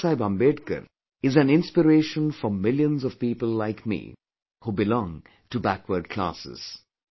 Baba Saheb Ambedkar is an inspiration for millions of people like me, who belong to backward classes